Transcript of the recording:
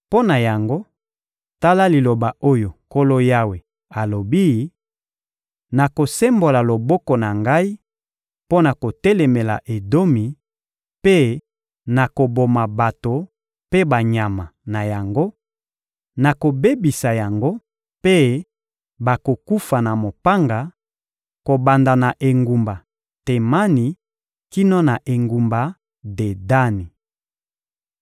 mpo na yango, tala liloba oyo Nkolo Yawe alobi: Nakosembola loboko na Ngai mpo na kotelemela Edomi mpe nakoboma bato mpe banyama na yango; nakobebisa yango, mpe bakokufa na mopanga, kobanda na engumba Temani kino na engumba Dedani.